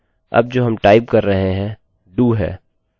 सबसे पहले नंबरnumber का मान एकोecho out करें